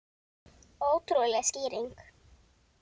Ótrúleg skýring